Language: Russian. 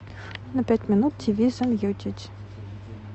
на пять минут тиви замьютить